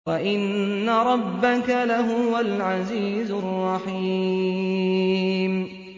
وَإِنَّ رَبَّكَ لَهُوَ الْعَزِيزُ الرَّحِيمُ